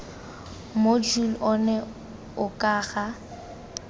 mojule ono o ka ga